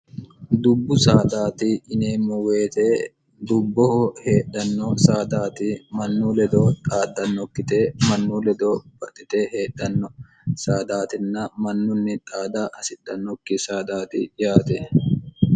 dubbu saadaati yineemmo woyite dubboho heedhanno saadaati mannu ledoo xaaddannokkite mannu ledoo barxite heedhanno saadaatinna mannunni xaada hasidhannokki saadaati yaate